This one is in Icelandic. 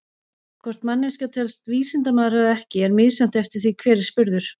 Hvort manneskja telst vísindamaður eða ekki er misjafnt eftir því hver er spurður.